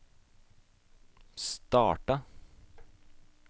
starta